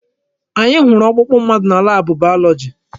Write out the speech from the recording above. Anyị hụrụ ọkpụkpụ mmadụ na laabụ bayọlọji.